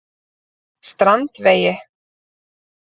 Strandvegi